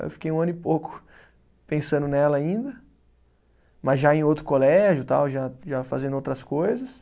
Aí eu fiquei um ano e pouco pensando nela ainda, mas já em outro colégio tal já, já fazendo outras coisas.